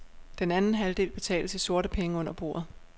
Den anden halvdel betales i sorte penge under bordet.